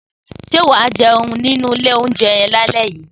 Sé wàá jéun nínú ìlé ounjé yen làlé yí?